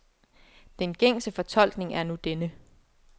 Den gængse fortolkning er nu denne.